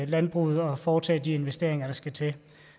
landbruget at foretage de investeringer der skal til